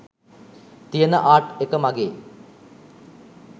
තියෙන ආර්ට් එක මගේ.